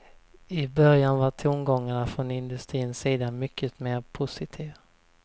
I början var tongångarna från industrins sida mycket mer positiva.